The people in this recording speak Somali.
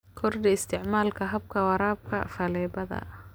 Kordhi isticmaalka habka waraabka faleebada.